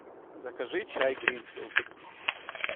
закажи чай гринфилд